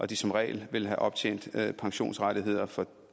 de som regel vil have optjent pensionsrettigheder for